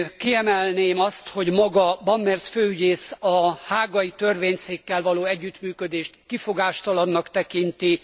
Kiemelném azt, hogy maga Brammertz főügyész a hágai törvényszékkel való együttműködést kifogástalannak tekinti.